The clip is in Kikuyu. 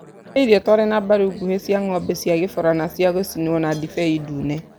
Harĩ irio twarĩ na mbaru nguhĩ cia ng'ombe cia kĩborana cia gũcinwo na ndibei ndune.